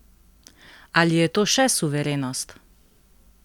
Ali je to še suverenost?